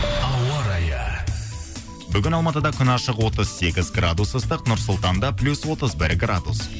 ауа райы бүгін алматыда күн ашық отыз сегіз градус ыстық нұр сұлтанда плюс отыз бір градус